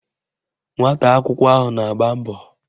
Nwata akwụkwọ ahụ na-agba mbọ